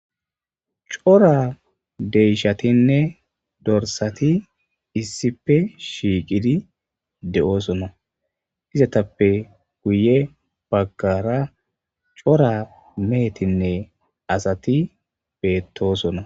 Cora deyshatinne dorsati issipe shiiqidi de7oosona izatappe guye baggara cora meetinne asati beettoosona